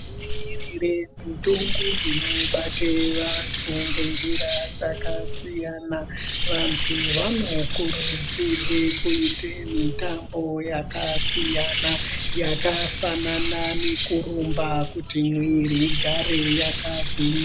Kudziiirire mitongo inobate vantu ngenjira dzakasiyana. Vantu vanokurudzirwe kuite mitambo yakasiyana. Yakafanana nekurumba kuti mwiiri igare yakagwinya.